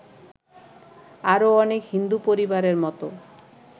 আরো অনেক হিন্দু পরিবারের মতো